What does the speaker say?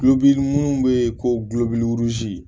minnu bɛ yen ko glɔki